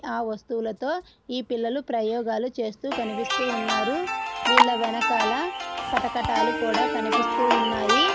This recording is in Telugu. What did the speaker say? ఆ వస్తువులతో ఈ పిల్లలు ప్రయోగాలు చేస్తూ కనిపిస్తూ ఉన్నారు వీళ్ళ వెనకాల కటకటాలు కూడా కనిపిస్తూ ఉన్నాయి.